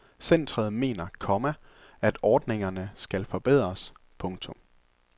Centret mener, komma at ordningernes skal forbedres. punktum